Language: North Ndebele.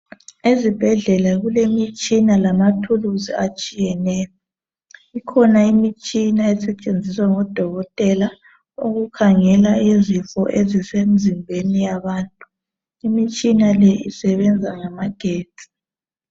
Ezibhedlela kulemitshina lamathuluzi atshiyeneyo. Kukhona imitshina esetshenziswa ngodokotela uķukhangela izifo ezisemzimbeni yabantu. Imitshina leyo isebenza ngamagetsi.